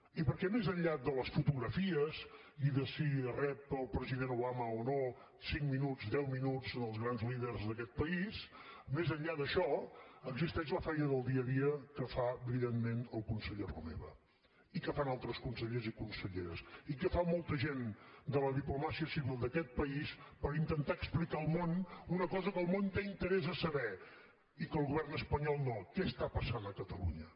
i perquè més enllà de les fotografies i de si rep el president obama o no cinc minuts deu minuts els grans líders d’aquest país més enllà d’això existeix la feina del dia a dia que fa brillantment el conseller romeva i que fan altres consellers i conselleres i que fa molta gent de la diplomàcia civil d’aquest país per intentar explicar al món una cosa que el món té interès a saber i que el govern espanyol no què està passant a catalunya